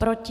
Proti?